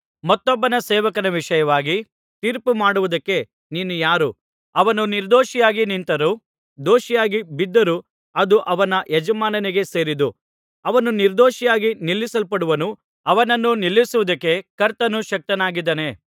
ಮತ್ತೊಬ್ಬನ ಸೇವಕನ ವಿಷಯವಾಗಿ ತೀರ್ಪುಮಾಡುವುದಕ್ಕೆ ನೀನು ಯಾರು ಅವನು ನಿರ್ದೋಷಿಯಾಗಿ ನಿಂತರೂ ದೋಷಿಯಾಗಿ ಬಿದ್ದರೂ ಅದು ಅವನ ಯಜಮಾನನಿಗೇ ಸೇರಿದ್ದು ಅವನು ನಿರ್ದೊಷಿಯಾಗಿ ನಿಲ್ಲಿಸಲ್ಪಡುವನು ಅವನನ್ನು ನಿಲ್ಲಿಸುವುದಕ್ಕೆ ಕರ್ತನು ಶಕ್ತನಾಗಿದ್ದಾನೆ